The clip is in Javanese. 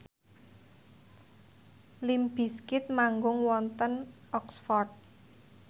limp bizkit manggung wonten Oxford